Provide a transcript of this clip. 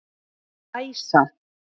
Æsa